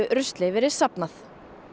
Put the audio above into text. rusli verið safnað